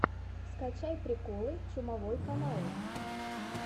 скачай приколы чумовой канал